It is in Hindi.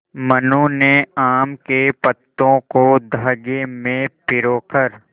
मनु ने आम के पत्तों को धागे में पिरो कर